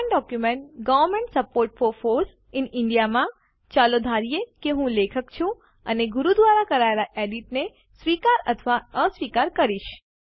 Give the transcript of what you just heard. સમાન document government support for foss in India માં ચાલો ધારીએ કે હું લેખક છું અને હું ગુરુ દ્વારા કરાયેલ એડિટ ને સ્વીકાર અથવા અસ્વીકાર કરીશ